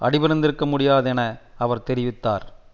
அடி பணிந்திருக்க முடியாது என அவர் தெரிவித்தார்